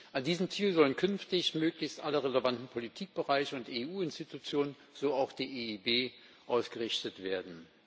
An diesen Zielen sollen künftig möglichst alle relevanten Politikbereiche und EU Institutionen, so auch die EIB, ausgerichtet werden.